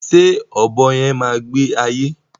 Ṣé ọ̀bọ yẹn má gbé ayé